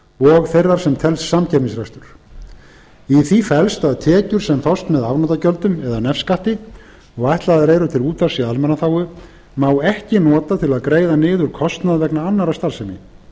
og þeirrar sem telst samkeppnisrekstur í því felst að tekjur sem fást með afnotagjöldum eða nefskatti og ætlaðar eru til útvarps í almannaþágu má ekki nota til að greiða niður kostnað vegna annarrar starfsemi